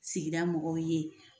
Sigida mɔgɔw ye.